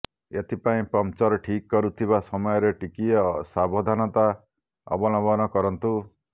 ଏଥିପାଇଁ ପମ୍ପଚର ଠିକ୍ କରୁଥିବା ସମୟରେ ଟିକିଏ ସାବଧାନତା ଅବଲମ୍ବନ କରନ୍ତୁ